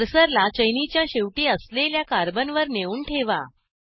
कर्सरला चैनीच्या शेवटी असलेल्या कार्बनवर नेऊन ठेवा